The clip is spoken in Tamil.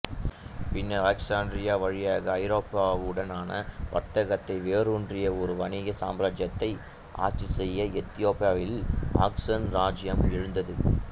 பின்னர் அலெக்ஸாண்ட்ரியா வழியாக ஐரோப்பாவுடனான வர்த்தகத்தில் வேரூன்றிய ஒரு வணிக சாம்ராஜ்யத்தை ஆட்சி செய்ய எத்தியோப்பியாவில் ஆக்சம் இராச்சியம் எழுந்தது